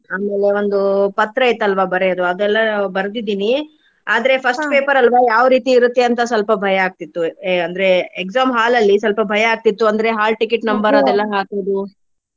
ಆಮೇಲೆ ಒಂದು ಪತ್ರ ಇತ್ತಲ್ವಾ ಬರ್ಯೋದು ಅದೆಲ್ಲಾ ಬರ್ದಿದಿನಿ ಆದ್ರೆ first paper ಅಲ್ವಾ ಯಾವ್ ರೀತಿ ಇರುತ್ತೆ ಅಂತಾ ಸ್ವಲ್ಪ ಭಯಾ ಆಗ್ತಿತ್ತು. ಆಹ್ ಅಂದ್ರೆ exam hall ಲ್ಲಿ ಸ್ವಲ್ಪ ಭಯಾ ಆಗ್ತಿತ್ತು. ಅಂದ್ರೆ hall ticket number ಅದೆಲ್ಲಾ ಹಾಕುದು.